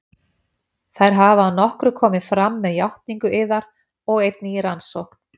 Þær hafa að nokkru komið fram með játningu yðar og einnig í rannsókn